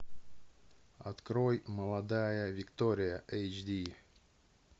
открой молодая виктория эйч ди